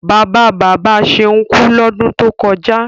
Bàbá bàbá Ṣeun kú lọ́dún tó kọjá.